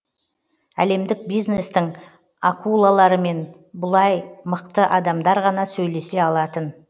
әлемдік бизнестің акулаларымен бұлай мықты адамдар ғана сөйлесе алатын